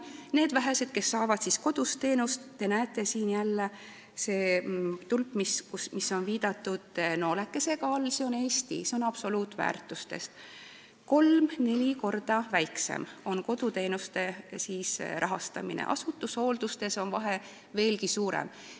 Nendel vähestel, kes saavad koduteenust – te näete siin graafikul tulpa, millel on nooleke all, see tähistab Eestit –, rahastatakse seda absoluutväärtuses 3–4 korda vähem, asutushoolduse korral on vahe veelgi suurem.